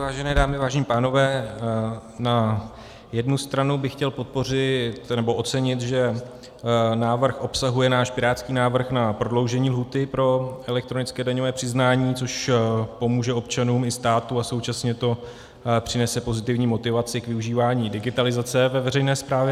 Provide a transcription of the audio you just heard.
Vážené dámy, vážení pánové, na jednu stranu bych chtěl podpořit, nebo ocenit, že návrh obsahuje náš pirátský návrh na prodloužení lhůty pro elektronické daňové přiznání, což pomůže občanům i státu a současně to přinese pozitivní motivaci k využívání digitalizace ve veřejné správě.